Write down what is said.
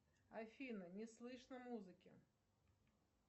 афина не слышно музыки